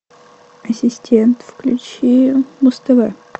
ассистент включи муз тв